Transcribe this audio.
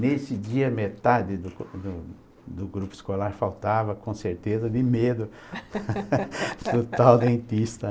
Nesse dia, metade do do do grupo escolar faltava, com certeza, de medo do tal dentista, né?